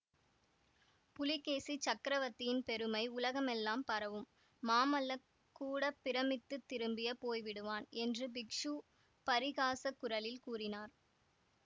புலிகேசிச் சக்கரவர்த்தியின் பெருமை உலகமெல்லாம் பரவும் மாமல்லக் கூட பிரமித்துத் திரும்பி போய் விடுவான் என்று பிக்ஷு பரிகாசக் குரலில் கூறினார்